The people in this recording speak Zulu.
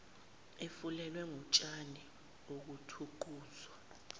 efulelwe ngotshani okuthuquzwa